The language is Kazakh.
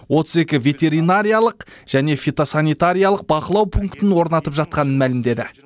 отыз екі ветеринариялық және фитосанитариялық бақылау пунктін орнатып жатқанын мәлімдеді